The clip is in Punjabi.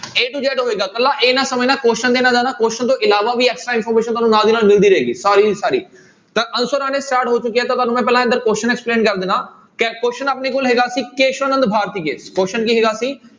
a to z ਹੋਏਗਾ ਇਕੱਲਾ ਇਹ ਨਾ ਸਮਝਣਾ question question ਤੋਂ ਇਲਾਵਾ ਵੀ extra information ਤੁਹਾਨੂੰ ਨਾਲ ਦੀ ਨਾਲ ਮਿਲਦੀ ਰਹੇਗੀ, ਸਾਰੀ ਦੀ ਸਾਰੀ ਤਾਂ answer ਆਉਣੇ start ਹੋ ਚੁੱਕੇ ਆ ਤਾਂ ਤੁਹਾਨੂੰ ਮੈਂ ਪਹਿਲਾਂ question explain ਕਰ ਦਿਨਾ, ਕਿ question ਆਪਣੇ ਕੋਲ ਹੈਗਾ ਸੀ ਕੇਸਵ ਨੰਦ ਭਾਰਤੀਏ question ਕੀ ਹੈਗਾ ਸੀ।